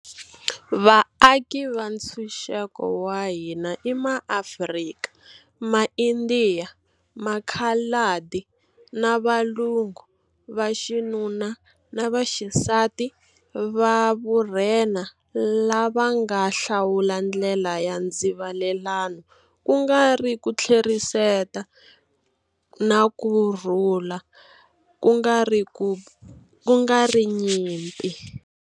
Vaaki va ntshuxeko wa hina i MaAfrika, MaIndiya, Makhaladi na Valungu vaxinuna na vaxisati va vurhena lava nga hlawula ndlela ya ndzivalelano ku nga ri ku tlheriseta, na kurhula ku nga ri nyimpi.